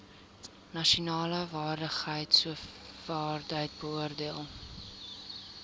nasionale vaardigheidsowerheid beoordeel